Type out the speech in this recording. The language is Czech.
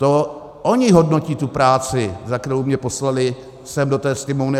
To oni hodnotí tu práci, za kterou mě poslali sem do té Sněmovny.